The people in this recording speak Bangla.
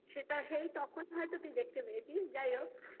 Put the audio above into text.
সেটা হে তখন হয়তো তুই দেখতে পেয়েছিস যাই হোক